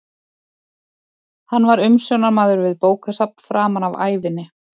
Hann var umsjónarmaður við bókasafn framan af ævinni.